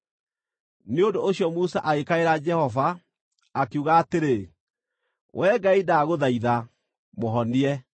Nĩ ũndũ ũcio Musa agĩkaĩra Jehova, akiuga atĩrĩ, “Wee Ngai, ndagũthaitha, mũhonie!”